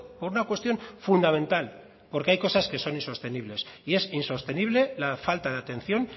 por una cuestión fundamental porque hay cosas que son insostenibles y es insostenible la falta de atención